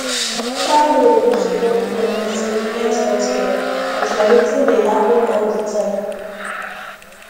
far road no suppose block person to get health care but na wetin dey happen all the time